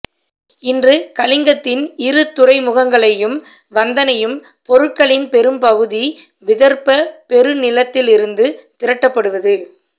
இன்று கலிங்கத்தின் இரு துறைமுகங்களையும் வந்தணையும் பொருட்களின் பெரும்பகுதி விதர்ப்பப் பெருநிலத்திலிருந்து திரட்டப்படுவது